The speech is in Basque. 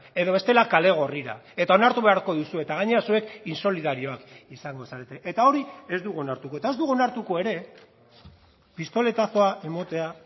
edo bestela kale gorrira eta onartu beharko duzu eta gainera zuek insolidarioak izango zarete eta hori ez dugu onartuko eta ez dugu onartuko ere pistoletazoa ematea